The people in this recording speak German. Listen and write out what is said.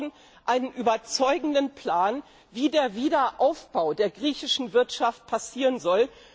Wir brauchen einen überzeugenden Plan, wie der Wiederaufbau der griechischen Wirtschaft vor sich gehen soll.